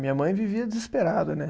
Minha mãe vivia desesperada, né?